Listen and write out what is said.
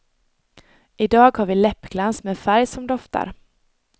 I dag har vi läppglans med färg som doftar.